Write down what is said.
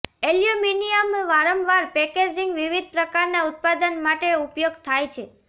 aluminium વારંવાર packaging વિવિધ પ્રકારના ઉત્પાદન માટે ઉપયોગ થાય છે